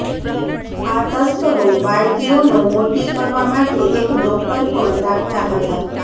આ તસ્કરો બાળકીઓનો મોટી કરવા માટે એક ડોક્ટર પણ રાખતા હતાં